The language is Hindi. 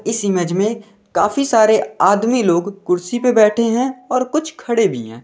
इस इमेज में काफी सारे आदमी लोग कुर्सी पर बैठे हैं और कुछ खड़े भी हैं।